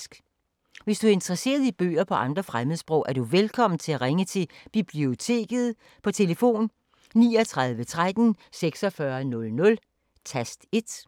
Hvis du er interesseret i bøger på andre fremmedsprog, er du velkommen til at ringe til Biblioteket på tlf. 39 13 46 00, tast 1.